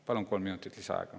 Palun kolm minutit lisaaega.